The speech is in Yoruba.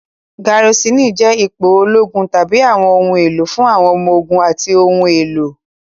Garisini jẹ́ ipò ológun tàbí àwọn ohun èlò fún àwọn ọmọ ogun àti ohun èlò.